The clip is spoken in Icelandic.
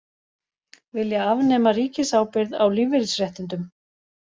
Vilja afnema ríkisábyrgð á lífeyrisréttindum